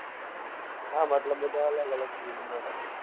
હ મતલબ બધા અલગ field માં છીએ